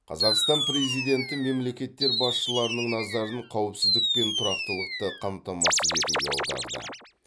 қазақстан президенті мемлекеттер басшыларының назарын қауіпсіздік пен тұрақтылықты қамтамасыз етуге аударды